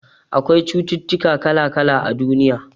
Akwai cututtuka kala-kala a duniya.